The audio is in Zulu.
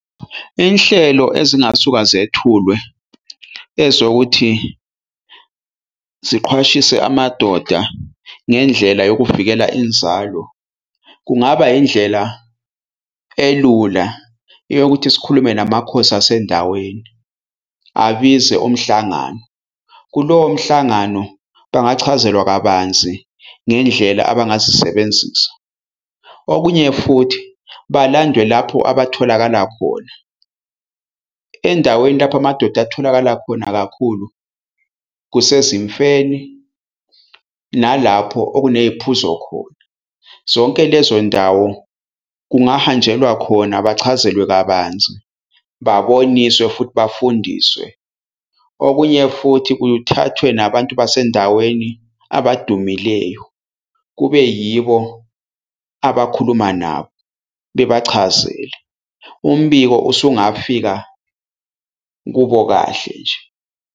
Inhlelo ezingasuka zethulwe ezokuthi ziqhwashise amadoda ngendlela yokuvikela inzalo. Kungaba indlela elula yokuthi sikhulume namakhosi asendaweni abize umhlangano, kulowo mhlangano bangachazelwa kabanzi ngendlela abangazisebenzisa. Okunye futhi balandwe lapho abatholakala khona, endaweni lapho amadoda atholakala khona kakhulu kusezimfeni nalapho okuney'phuzo khona. Zonke lezo ndawo kungahanjelwa khona bachazelwe kabanzi, baboniswe, futhi bafundiswe. Okunye futhi kuthathwe nabantu basendaweni abadumileyo, kube yibo abakhuluma nabo bebachazele. Umbiko usungafika kubo kahle nje.